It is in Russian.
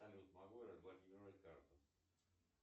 салют могу я разблокировать карту